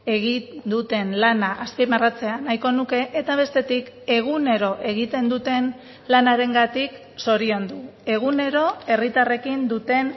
egin duten lana azpimarratzea nahiko nuke eta bestetik egunero egiten duten lanarengatik zoriondu egunero herritarrekin duten